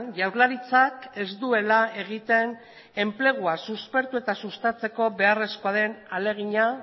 jaurlaritzak ez duela egiten enplegua suspertu eta sustatzeko beharrezkoa den ahalegina